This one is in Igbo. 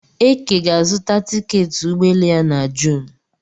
Eke ga-azuta tiketị ụgbọelu ya na Jun